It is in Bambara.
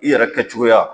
I yɛrɛ kɛcogoya